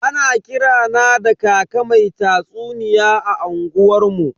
Ana kira na da kaka mai tatsuniya a unguwar mu.